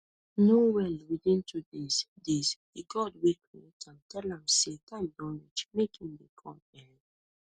no well within two days days di god wey create am tell am say time don reach make e dey come um